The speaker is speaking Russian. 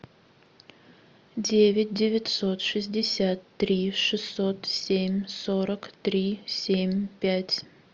девять девятьсот шестьдесят три шестьсот семь сорок три семь пять